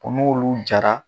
U n'olu jara